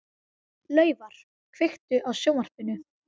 Laufar, kveiktu á sjónvarpinu.